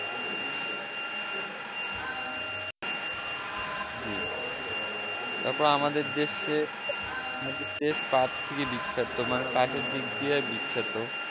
জি তারপর আমাদের দেশে পার্টই বিখ্যাত মানে পার্টের দিক দিয়ে বিখ্যাত